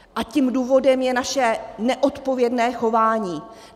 A tím důvodem je naše neodpovědné chování.